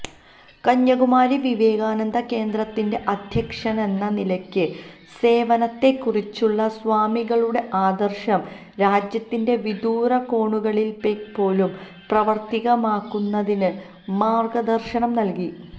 കന്യാകുമാരി വിവേകാനന്ദ കേന്ദ്രത്തിന്റെ അധ്യക്ഷനെന്ന നിലയ്ക്ക് സേവനത്തെക്കുറിച്ചുള്ള സ്വാമികളുടെ ആദര്ശം രാജ്യത്തിന്റെ വിദൂരകോണുകളില്പ്പോലും പ്രാവര്ത്തികമാക്കുന്നതിന് മാര്ഗദര്ശനം നല്കി